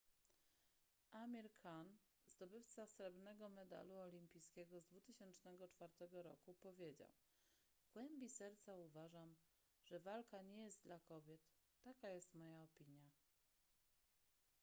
amir khan zdobywca srebrnego medalu olimpijskiego z 2004 roku powiedział w głębi serca uważam że walka nie jest dla kobiet taka jest moja opinia